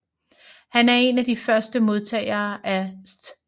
Han var en af de første modtagere af St